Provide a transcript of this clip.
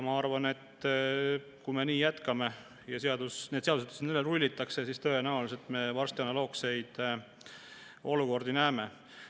Ma arvan, et kui me nii jätkame ja need seadused siin üle rullitakse, siis tõenäoliselt me varsti analoogseid olukordi näeme.